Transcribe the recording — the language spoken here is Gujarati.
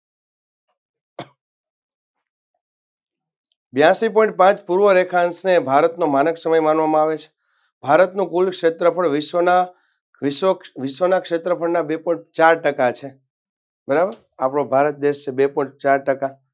બ્યાસી point પાંચ પૂર્વ રેખાન છે ભારતનો માનક સમક માનવામાં આવે છે ભારતનો કુલ ક્ષેત્રફળ પણ વિશ્વના વિશ્વના ક્ષેત્રફળા બે point ચાર ટકા છે બરાબર આપનો ભારત દેશ છે બે point ચાર ટકા